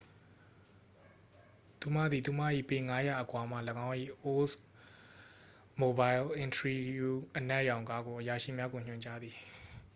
သူမသည် သူမ၏ပေ ၅၀၀ အကွာမှ သူမ၏oldsmobile intrigue အနက်ရောင်ကားကို အရာရှိများကို ညွှန်ကြားသည်။